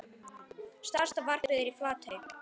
Stærsta varpið er í Flatey.